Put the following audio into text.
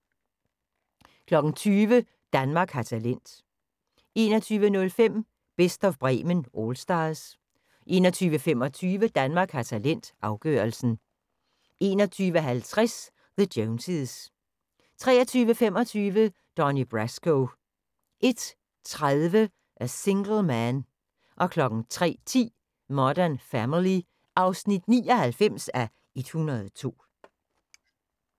20:00: Danmark har talent 21:05: Best of Bremen Allstars 21:25: Danmark har talent – afgørelsen 21:50: The Joneses 23:25: Donnie Brasco 01:30: A Single Man 03:10: Modern Family (99:102)